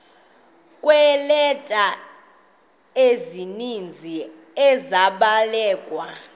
kweeleta ezininzi ezabhalelwa